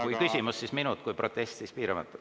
Kui küsimus, siis minut, kui protest, siis piiramatu.